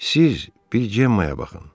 Siz bir Gemmaya baxın.